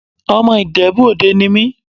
Ọmọ Ìjẹ̀bú Òde ni mí.